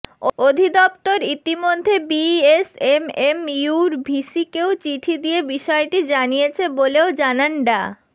অধিদপ্তর ইতোমধ্যে বিএসএমএমইউর ভিসিকেও চিঠি দিয়ে বিষয়টি জানিয়েছে বলেও জানান ডা